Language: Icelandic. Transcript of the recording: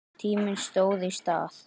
Tíminn stóð í stað.